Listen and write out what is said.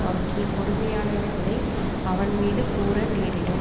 அவற்றில் கொடுமையானவைகளை அவன் மீது கூற நேரிடும்